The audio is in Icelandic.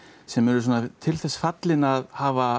sem eru til þess fallin að hafa